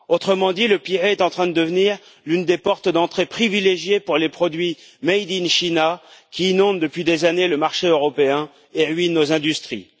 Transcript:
Autrement dit, le Pirée est en train de devenir l'une des portes d'entrée privilégiée pour les produits Made in China, qui inondent depuis des années le marché européen et ruinent nos industries.